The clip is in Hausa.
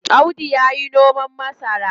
Audu yayi noman masara.